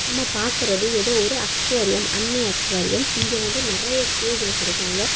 நம்ம பாக்குறது ஏதோ ஒரு அக்வாரியம் அன்னை அக்வாரியம் இங்க வந்து நிறைய கேஜ் வச்சிருக்காங்க.